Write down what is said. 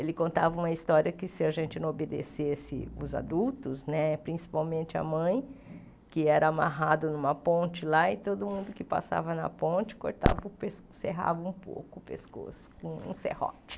Ele contava uma história que se a gente não obedecesse os adultos né, principalmente a mãe, que era amarrado numa ponte lá e todo mundo que passava na ponte cortava o pescoço, serrava um pouco o pescoço com um serrote.